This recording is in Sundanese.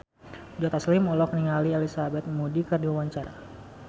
Joe Taslim olohok ningali Elizabeth Moody keur diwawancara